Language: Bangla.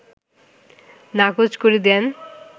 নাকোচ করে দেন